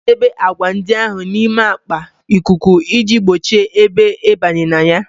Anyị na-edebe agwa ndị ahụ n'ime akpa ikuku iji gbochie ebe ịbanye na ya